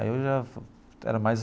Aí eu já era mais.